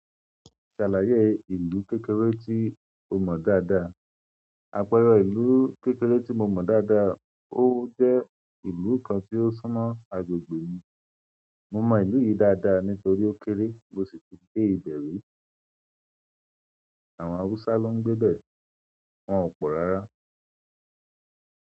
Ṣàlàyé ìlú kékeré tí ó mọ̀ dáadáa. Àpẹẹrẹ ìlú kékeré tí mo mọ̀ dáadáa ó jẹ́ ìlú kan tí ó súnmọ́ agbègbè mi. Mo mo ìlú yí daada nítorí ó kéré mo sì tún gbé ibẹ ríi. Àwọn awùsá ló ngbe bẹ̀ wọ́n ò pọ̀ rárá.